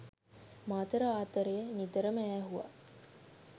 මාතර ආතරය නිතරම ඈහුවා